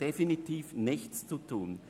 definitiv nichts zu tun.